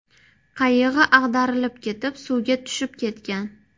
Qayig‘i ag‘darilib ketib, suvga tushib ketgan.